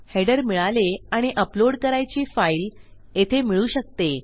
header मिळाले आणि uploadकरायची फाईल येथे मिळू शकते